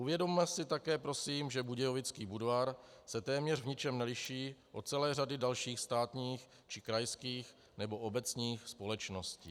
Uvědomme si také prosím, že budějovický Budvar se téměř v ničem neliší od celé řady dalších státních či krajských nebo obecních společností.